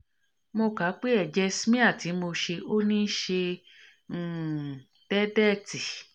mo ka pe eje smear ti mo se oni se um deedetí